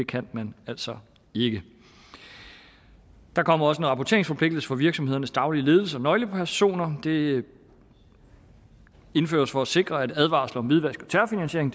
kan man altså ikke der kommer også en rapporteringsforpligtelse for virksomhedernes daglige ledelser og nøglepersoner det indføres for at sikre at advarsler om hvidvask og terrorfinansiering